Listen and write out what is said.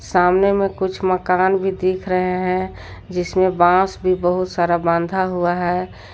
सामने में कुछ मकान भी दिख रहे हैं जिसमें बांस भी बहुत सारा बांधा हुआ है।